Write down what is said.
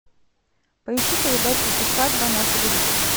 поищи передачу усадьба на телевизоре